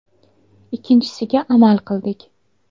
Ikkinchisiga amal qildik.